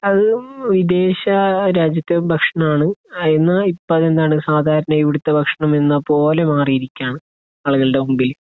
അത് വിദേശരാജ്യത്തെ ഭക്ഷണമാണ്. അതെങ്ങനാ ഇപ്പൊ എന്താണ്, സാധാരണയായി ഇവിടുത്തെ ഭക്ഷണം എന്നപോലെ മാറിയിരിക്കുകയാണ്, ആളുകളുടെ മുൻപിൽ.